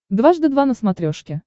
дважды два на смотрешке